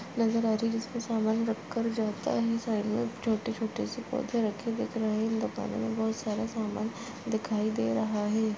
नजर आ रहे है जिस पे सामान रख कर जाता है साइड में छोटे छोटे से पौधे रखे हुए है बहुत सारा सामान दिखाई दे रहा है।